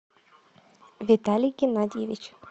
виталий геннадьевич